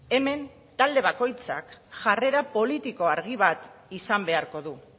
hemen talde bakoitzak jarrera politiko argi bat izan beharko du